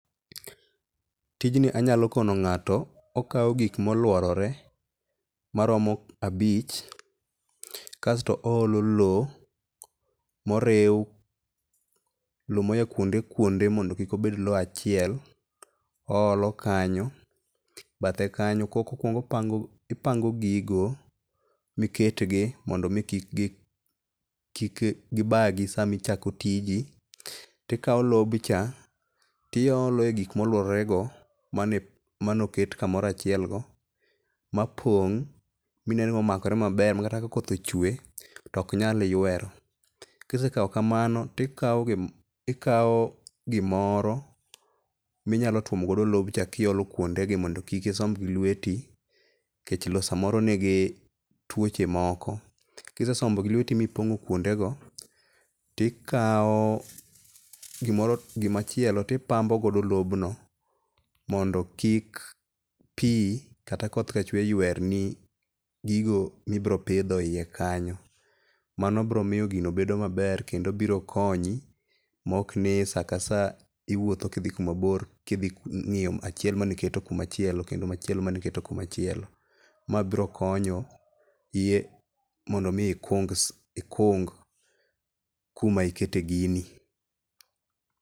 Tijni anyalo kono ng'ato, okawo gik molworore maromo abich kasto oolo lowo moriw, lowo moya kuonde kuondo mondo kik obed lowo achiel oolo kanyo, bathe kanyo. Kokwongo opango gigo miketgi mondo mi kik gibagi sama ichako tiji. Tikawo lobcha tiolo egik molwororego mane manoket mapong# mine ni omakore maber makata ka koth ochwe to ok nyal ywero. Kisetimo kamano, tikao lobcha, tichako iolo kuondegi mondo kik isomb gi lweti, nikech lowo samoro nigi tuoche moko, kise sombo gi lweti mipong'o kuondego, tikawo gima chielo to ipambo godo lobno, mondo kik pi kata koth kachwe yuerni gigo ma ibiro pidho eiye kanyo. Mano biro miyo gino bedo maber kendo biro konyi maok ni saka saa iwuotho kidhi kumabor kidhi ng'iyo achiel mane iketo kumachielo kendo machielo mane iketo kuma chielo. Ma biro konyo iye mondo mi ikung s ikung kuma ikete gini.